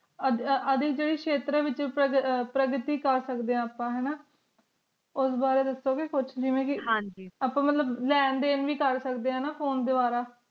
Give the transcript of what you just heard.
Audi ਜੇਦੀ ਸ਼ੇਤਰ ਵਿਚ ਪਰਵਿਟਟੀ ਕਰਸਕਦੇ ਆਂ ਹੈਂ ਨਾ ਉਸ ਬਾਰੇ ਵਿਚ ਵੇ ਪੋਚਡੀ ਦੀ ਸਿੰਘੀ ਆਪਾਂ ਮਤਲੱਬ ਲੈਣ ਦਿਨ ਵੇ ਕਰ ਸਕਦੇ ਆਂ ਫੋਨ ਦ੍ਵਾਰਾ